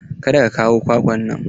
Kada ka kawo kwakwan nan!